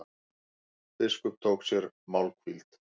Biskup tók sér málhvíld.